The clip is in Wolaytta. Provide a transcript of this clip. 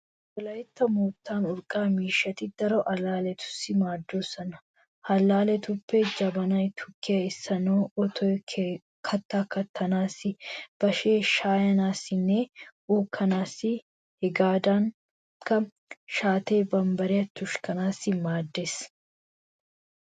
Wolaytta moottan urqqa miishshati daro allaalletussi maaddoosona. Ha allaalletuppe jabanay tukkiya essanaassi, otoy kattaa kattanaassi, bashee shaayanaassinne uukkanaassi hegaadankka shaattee bambbariya tushanaassi maaddoosona.